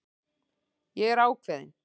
Ég er ákveðin.